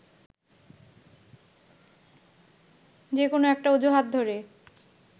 যে কোনো একটা অজুহাত ধরে